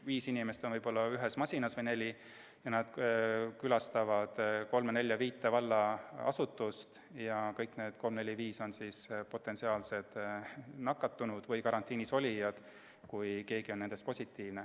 Viis inimest on võib-olla koos ühes masinas olnud, või neli, nad külastavad kolme-nelja-viit valla asutust ja kõik need kolm-neli-viis on siis potentsiaalsed nakatunud või karantiinis olijad, juhul kui keegi nendest on positiivne.